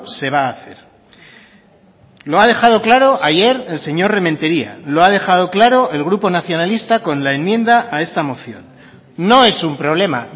se va a hacer lo ha dejado claro ayer el señor rementeria lo ha dejado claro el grupo nacionalista con la enmienda a esta moción no es un problema